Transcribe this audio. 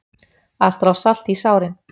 Að strá salti í sárin